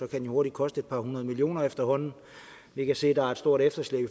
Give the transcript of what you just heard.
kan den hurtigt koste et par hundrede millioner efterhånden vi kan se at der er et stort efterslæb i